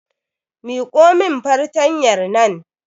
Miƙo min fartanyar nan